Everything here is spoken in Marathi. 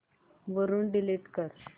वरून डिलीट कर